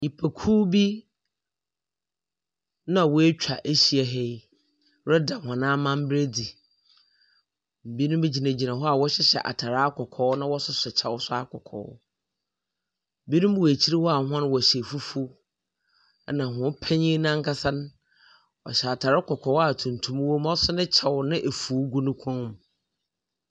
Nnipakuw bi na wɔatwa ahyia ha yi reda hɔn amambra adzi. Binom gyinagyina hɔ a wɔhyehyɛ atar akɔkɔɔ na akyɛw akɔkɔɔ. Binom wɔ akyir wɔ akyir hɔ a hɔn wɔhyɛ fufuw. Binom wɔ akyir hɔ a wɔhyɛ fufw na hɔn penyin no akasa no, ɔhyɛ atar kɔkɔɔ a tuntum wɔ wɔ mu, oso ne kyew na afuw gu ne kɔnmu.